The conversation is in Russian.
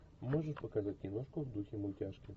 можешь показать киношку в духе мультяшки